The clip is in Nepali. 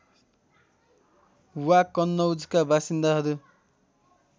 वा कन्नौजका बासिन्दाहरू